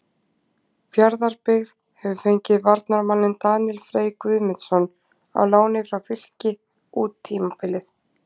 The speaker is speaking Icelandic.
Fjarðabyggð hefur fengið varnarmanninn Daníel Frey Guðmundsson á láni frá Fylki út tímabilið.